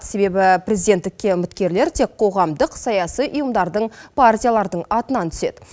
себебі президенттікке үміткерлер тек қоғамдық саяси ұйымдардың партиялардың атынан түседі